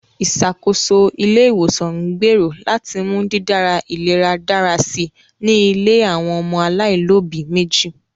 Ìṣàkóso ilé-ìwòsàn ń gbèrò láti mú dídára ìlera dára si ní ilé àwọn ọmọ alaáìlóbi méjì